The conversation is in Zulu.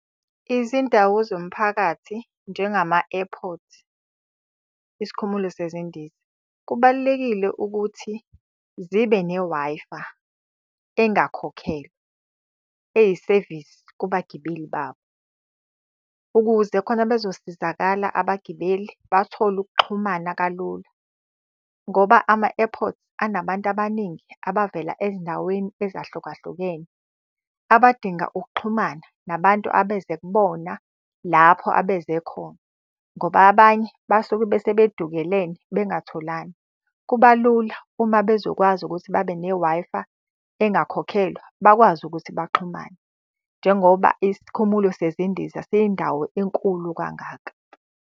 Izindawo zomphakathi njengama-airport, isikhumulo sezindiza. Kubalulekile ukuthi zibe ne-Wi-Fi engakhokhelwa, eyisevisi kubagibeli babo. Ukuze khona bezosizakala abagibeli bathole ukuxhumana kalula ngoba ama-airports, anabantu abaningi abavela ezindaweni ezahlukahlukene. Abadinga ukuxhumana nabantu abeze kubona lapho abeze khona, ngoba abanye basuke bese bedukelene bengatholani. Kuba lula uma bezokwazi ukuthi babe ne-Wi-Fi engakhokhelwa, bakwazi ukuthi baxhumane. Njengoba isikhumulo sezindiza siyindawo enkulu kangaka.